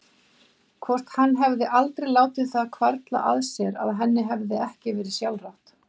Hvort hann hefði aldrei látið það hvarfla að sér að henni hefði ekki verið sjálfrátt?